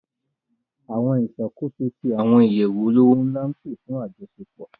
Àwọn ìṣàkóso tí àwọn ìyẹ̀wù olówó ńlá ń pè fún àjọṣepò